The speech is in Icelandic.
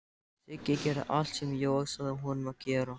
Siggi gerði allt sem Jói sagði honum að gera.